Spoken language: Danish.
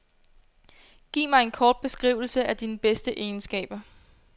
Giv mig en kort beskrivelse af dine bedste egenskaber.